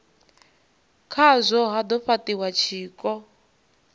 khazwo ha do fhatiwa tshiko